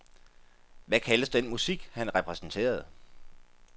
Hvad kaldes den musik, han repræsenterede?